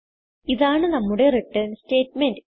ഇതാണ് നമ്മുടെ return statement